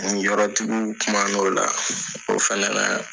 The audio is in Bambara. Ninyɔrɔduguw kuman'o la, o fɛnɛ la